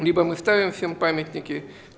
либо мы ставим всем памятники